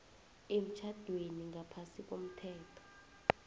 emtjhadweni ngaphasi komthetho